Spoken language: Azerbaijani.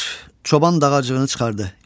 çoban dağacığını çıxartdı,